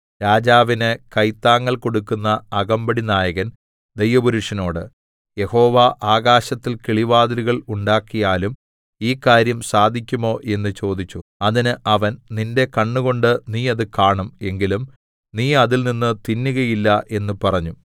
രാജാവിന് കൈത്താങ്ങൽ കൊടുക്കുന്ന അകമ്പടിനായകൻ ദൈവപുരുഷനോട് യഹോവ ആകാശത്തിൽ കിളിവാതിലുകൾ ഉണ്ടാക്കിയാലും ഈ കാര്യം സാധിക്കുമോ എന്ന് ചോദിച്ചു അതിന് അവൻ നിന്റെ കണ്ണുകൊണ്ട് നീ അത് കാണും എങ്കിലും നീ അതിൽനിന്ന് തിന്നുകയില്ല എന്ന് പറഞ്ഞു